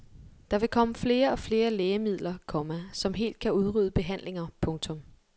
Der vil komme flere og flere lægemidler, komma som helt kan udrydde behandlinger. punktum